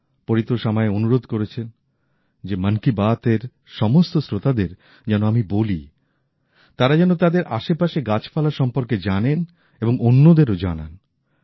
পরিতোষ আমায় অনুরোধ করেছে যে মন কি বাত এর সমস্ত শ্রোতাদের যেন আমি বলি তারা যাতে তাদের আশেপাশের গাছপালা সম্পর্কে জানেন এবং অন্যদেরও জানান